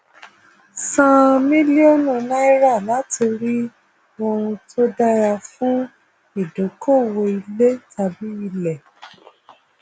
san mílíọnù náírà láti rí ohun tó dára fún ìdókòwò ilé tàbí ilẹ